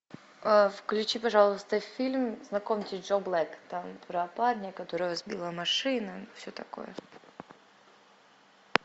включи пожалуйста фильм знакомьтесь джо блэк там про парня которого сбила машина все такое